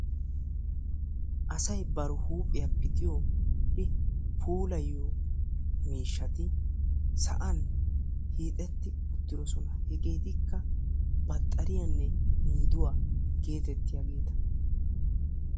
Asay bari huuphiya pixiyo I puulayiyo miishshati sa'an hiixetti uttidosona. Hegeetikka baxxariyanne miiduwa geetettiyaageeta.